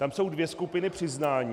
Tam jsou dvě skupiny přiznání.